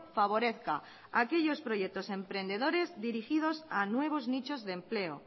favorezca aquellos proyectos emprendedores dirigidos a nuevos nichos de empleo